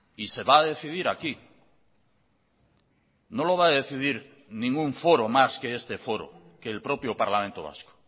y se va a decidir aquí no lo va a decidir ningún foro más que este foro que el propio parlamento vasco